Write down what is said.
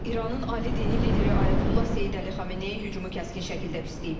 İranın ali dini lideri Ayətullah Seyid Əli Xameneyi hücumu kəskin şəkildə pisləyib.